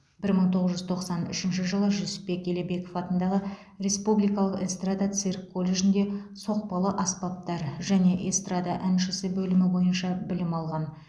бір мың тоғыз жүз тоқсан үшінші жылы жүсіпбек елебеков атындағы республикалық эстрада цирк колледжінде соқпалы аспаптар және эстрада әншісі бөлімі бойынша білім алған